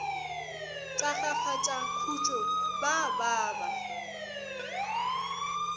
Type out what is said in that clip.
tagafatša khutšo ba ba ba